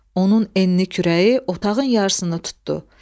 Onun enli kürəyi otağın yarısını tutdu.